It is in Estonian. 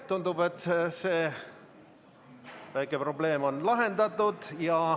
Tundub, et see väike probleem on lahendatud.